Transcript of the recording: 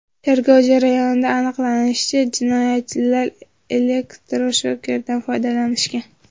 Tergov jarayonida aniqlanishicha, jinoyatchilar elektroshokerdan foydalanishgan.